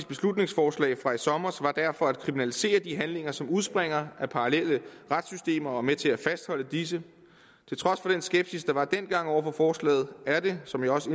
beslutningsforslag fra i sommer var derfor at kriminalisere de handlinger som udspringer af parallelle retssystemer og er med til at fastholde disse til trods for den skepsis der var dengang over for forslaget er det som jeg også